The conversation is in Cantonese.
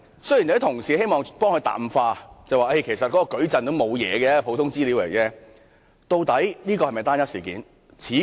有些同事希望淡化此事，說其實該項數據矩陣只是普通資料，但究竟這是否只是單一事件？